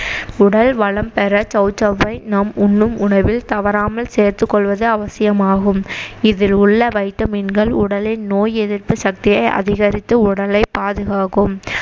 உடல் வளம் பெற சௌசௌவை நம் உண்ணும் உணவில் தவறாமல் சேர்த்துக்கொள்வது அவசியமாகும் இதில் உள்ள vitamin கள் உடலின் நோய் எதிர்ப்பு சக்தியை அதிகரித்து உடலை பாதுகாக்கும்